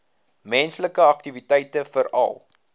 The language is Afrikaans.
menslike aktiwiteite veral